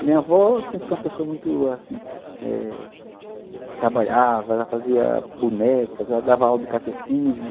A minha avó sempre foi uma pessoa muito, assim... Trabalhava, ela fazia bonecas, ela dava aula de catecismo.